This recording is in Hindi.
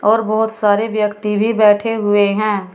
और बहोत सारे व्यक्ति भी बैठे हुए हैं।